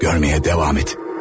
Görməyə davam et.